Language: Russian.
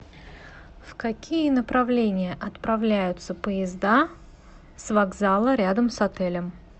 в какие направления отправляются поезда с вокзала рядом с отелем